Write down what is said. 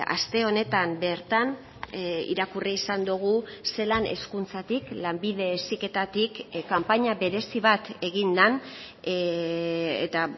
aste honetan bertan irakurri izan dugu zelan hezkuntzatik lanbide heziketatik kanpaina berezi bat egin den eta